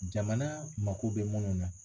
Jamana mako bɛ munnu na.